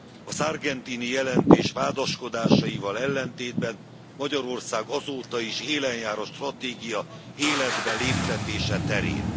A Sargentini jelentés vádaskodásaival ellentétben, Magyarország azóta is élen jár a stratégia életbe léptetése terén.